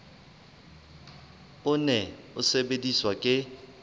o ne o sebediswa ke